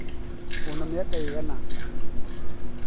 wĩ na miaka ĩigana ?